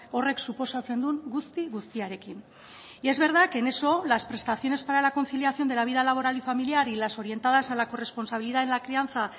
horrek suposatzen duen guzti guztiarekin y es verdad que en eso las prestaciones para la conciliación de la vida laboral y familiar y las orientadas a la corresponsabilidad en la crianza